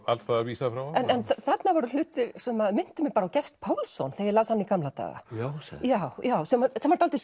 alls staðar vísað frá þarna voru hlutir sem minntu mig á Gest Pálsson þegar ég las hann í gamla daga sem var dálítið